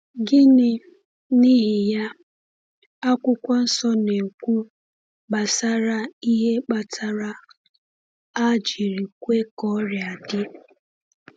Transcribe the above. Gịnị, n’ihi ya, Akwụkwọ Nsọ na-ekwu gbasara ihe kpatara a jiri kwe ka ọrịa dị?